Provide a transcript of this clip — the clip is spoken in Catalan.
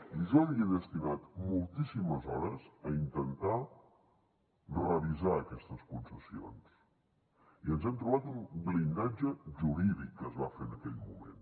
i jo hi he destinat moltíssimes hores a intentar revisar aquestes concessions i ens hem trobat un blindatge jurídic que es va fer en aquell moment